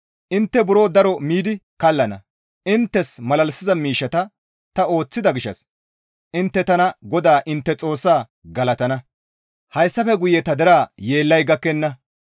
Intte buro daro miidi kallana; inttes malalisiza miishshata ta ooththida gishshas intte tana GODAA intte Xoossaa galatana; hayssafe guye ta deraa yeellay gakkenna.